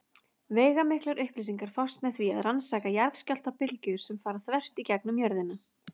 Veigamiklar upplýsingar fást með því að rannsaka jarðskjálftabylgjur sem fara þvert í gegnum jörðina.